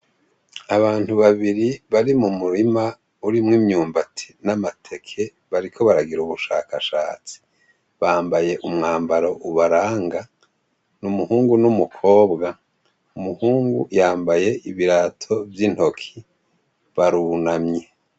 Abantu babiri, bari mumurima urimw’imyumbati n’amateke ,bariko baragira ubushakashatsi. Bambaye umwambaro ubaranga. N’umuhungu n’umukobwa. Umuhungu yambaye ibirato vy’intoke. Barunamye.